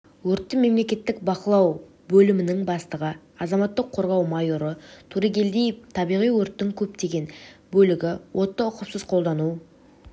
өртті мемлекеттік бақылау бөлімінің бастығы азаматтық қорғау майоры турегелдиев табиғи өрттердің көптеген бөлігі отты ұқыпсыз қолдану